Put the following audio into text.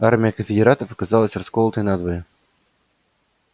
армия конфедератов оказалась расколотой надвое